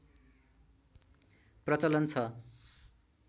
प्रचलन छ